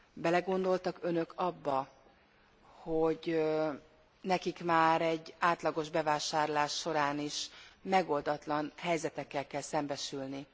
Belegondoltak Önök abba, hogy nekik már egy átlagos bevásárlás során is megoldatlan helyzetekkel kell szembesülni?